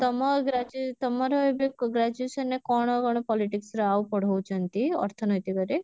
ତମ ଗ୍ରା ତମର ଏବେ graduation ରେ କଣ କଣ politics ର ଆଉ ପଢଉଛନ୍ତି ଅର୍ଥନୈତିକରେ?